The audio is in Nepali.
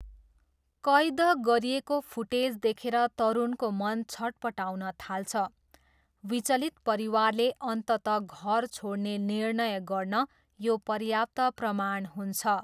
कैद गरिएको फुटेज देखेर तरुणको मन छट्पटाउन थाल्छ, विचलित परिवारले अन्ततः घर छोड्ने निर्णय गर्न यो पर्याप्त प्रमाण हुन्छ।